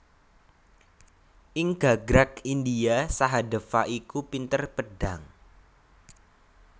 Ing gagrag India Sahadéva iku pinter pedhang